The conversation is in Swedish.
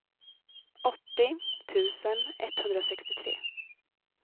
åttio tusen etthundrasextiotre